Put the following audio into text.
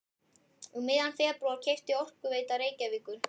Um miðjan febrúar keypti Orkuveita Reykjavíkur